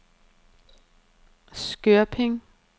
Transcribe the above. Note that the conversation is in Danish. Skørping